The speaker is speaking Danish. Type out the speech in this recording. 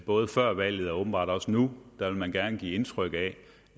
både før valget og åbenbart også nu vil man gerne give indtryk af